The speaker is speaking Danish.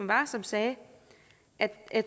var som sagde at